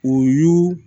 O y'u